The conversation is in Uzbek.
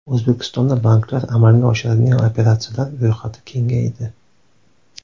O‘zbekistonda banklar amalga oshiradigan operatsiyalar ro‘yxati kengaydi.